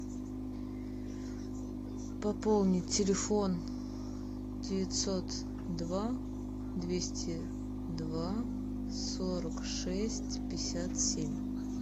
пополнить телефон девятьсот два двести два сорок шесть пятьдесят семь